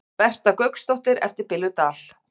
Berta Gauksdóttir eftir Billu Dal